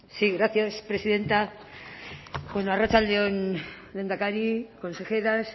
sí gracias presidenta arratsalde on lehendakari consejeras